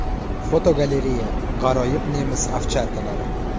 Fotogalereya: G‘aroyib nemis ovcharkalari.